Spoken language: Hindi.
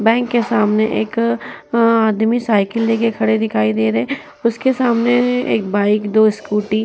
बैंक के सामने एक आदमी साइकिल लेकर खड़े दिखाई दे रहे है। उसके सामने एक बाइक दो स्कूटी --